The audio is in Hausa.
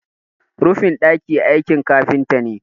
rufin daki aikin kafinta ne